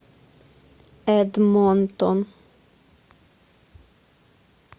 эдмонтон